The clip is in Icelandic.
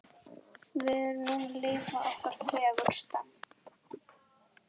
Við erum núna að lifa okkar fegursta.